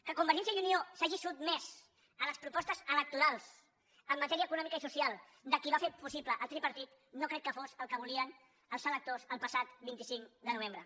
que convergència i unió s’hagi sotmès a les propostes electorals en matèria econòmica i social de qui va fer possible el tripartit no crec que fos el que volien els electors el passat vint cinc de novembre